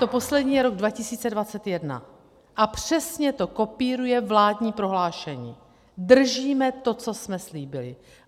To poslední je rok 2021 a přesně to kopíruje vládní prohlášení, držíme to, co jsme slíbili.